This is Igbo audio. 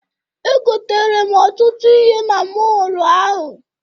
Egotere m ọtụtụ ihe na mọọlụ ahụ.